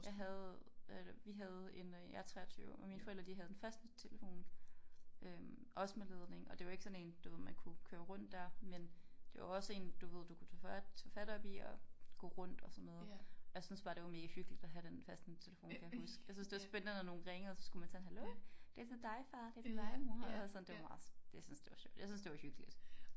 Jeg havde hvad hedder det vi havde en øh jeg er 23 og mine forældre de havde en fastnettelefon øh også med ledning og det var ikke sådan en du ved man kunne køre rundt der men det var også en du ved du kunne tage tage fat oppe i og går rundt og sådan noget jeg synes bare det var megahyggeligt at have den fastnettelefon kan jeg huske jeg synes det var spændende når nogen ringede og så skulle man tage den hallo det er til dig far det er til dig mor og sådan det var meget jeg synes det var jeg synes det var hyggeligt